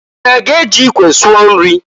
Unu aga-eji ikwe sụọ nri?